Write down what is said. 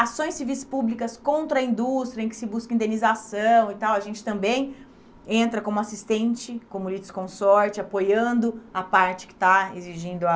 Ações civis públicas contra a indústria em que se busca indenização e tal, a gente também entra como assistente, como líder de consorte, apoiando a parte que está exigindo a